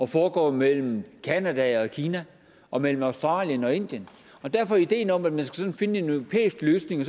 foregår mellem canada og kina og mellem australien og indien derfor er ideen om at man skal finde en europæisk løsning og